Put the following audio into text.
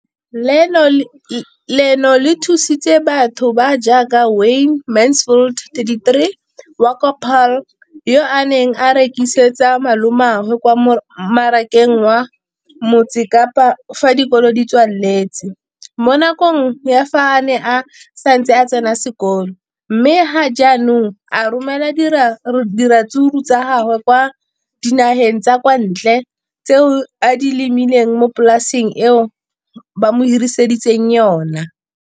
Leno le thusitse batho ba ba jaaka Wayne Mansfield, 33, wa kwa Paarl, yo a neng a rekisetsa malomagwe kwa Marakeng wa Motsekapa fa dikolo di tswaletse, mo nakong ya fa a ne a santse a tsena sekolo, mme ga jaanong o romela diratsuru tsa gagwe kwa dinageng tsa kwa ntle tseo a di lemileng mo polaseng eo ba mo hiriseditseng yona.